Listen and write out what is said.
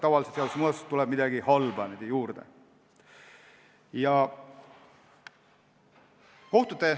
Tavaliselt tuleb seadusemuudatusega midagi halba juurde.